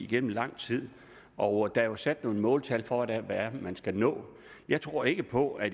igennem lang tid og der er jo sat nogle måltal for hvad det er man skal nå jeg tror ikke på at